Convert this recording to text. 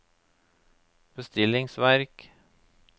bestillingsverk